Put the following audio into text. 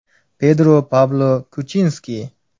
Pedro Pablo Kuchinski.